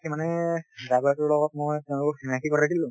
তাকে মানে driver টোৰ লগত মই তেওঁলোকক চিনাকি কৰাই দিলোঁ